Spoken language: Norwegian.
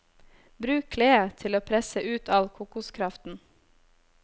Bruk kledet til å presse ut all kokoskraften.